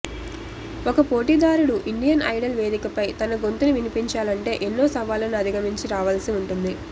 ఒక పోటీదారుడు Indian Idol వేదికపై తన గొంతును వినిపించాలంటే ఎన్నో సవాళ్లను అధిగమించి రావాల్సి ఉంటుంది